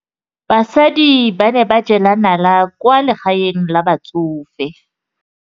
Basadi ba ne ba jela nala kwaa legaeng la batsofe.